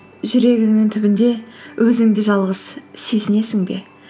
жүрегіңнің түбінде өзіңді жалғыз сезінесің бе